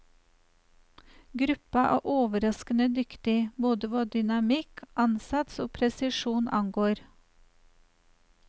Gruppa er overraskende dyktig, både hva dynamikk, ansats og presisjon angår.